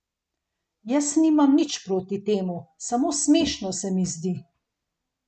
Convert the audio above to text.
Jaz nimam nič proti temu, samo smešno se mi zdi.